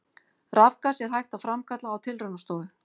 Rafgas er hægt að framkalla á tilraunastofu.